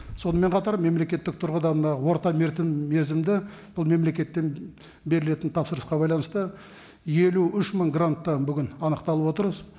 сонымен қатар мемлекеттік тұрғыда мына орта мерзімді бұл мемлекеттен берілетін тапсырысқа байланысты елу үш мың грант та бүгін анықталып отыр